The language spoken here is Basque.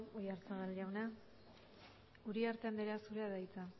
oyarzabal jauna uriarte andrea zurea da hitza